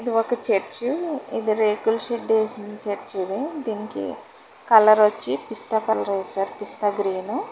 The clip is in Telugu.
ఒక చర్చ్ ఇది రేకుల షెడ్ వేసిన చర్చ్ ఇది దీనికి కలర్ వచ్చి పిస్తా కలర్ వేశారు పిస్తా గ్రీను